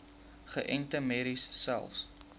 geënte merries selfs